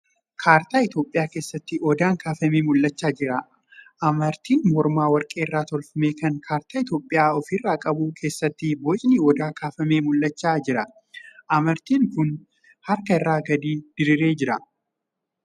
Kaartaa Itiyoophiyaa keessaatti Odaan kaafamee mul'achaa jira. Amartii mormaa warqee irraa tolfame kan kaartaa Itiyoophiyaa ofirraa qabu keessatti bocni odaa kaafamee mul'achaa jira. Amartiin kun harka irra gadi diriiree jira.